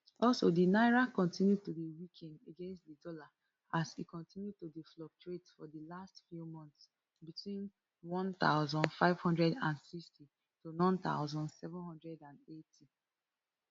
also di naira continue to dey weaken against di dollar as e continue to dey fluctuate for di last few months between none thousand, five hundred and sixty to none thousand, seven hundred and eighty